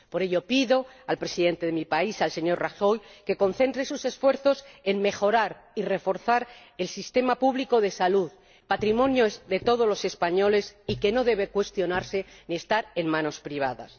Por ello pido al Presidente de mi país ―el señor Rajoy― que concentre sus esfuerzos en mejorar y reforzar el sistema público de salud, patrimonio de todos los españoles y que no debe cuestionarse ni estar en manos privadas.